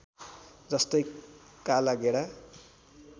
जस्तै काला गेडा